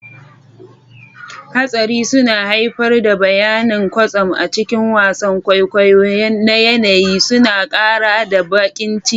Hatsari suna haifar da bayanan kwatsam a cikin wasan kwaikwayo na yanayi, suna ƙara da baƙin ciki.